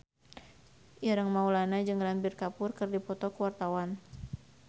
Ireng Maulana jeung Ranbir Kapoor keur dipoto ku wartawan